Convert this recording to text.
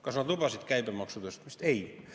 Kas nad lubasid käibemaksu tõstmist?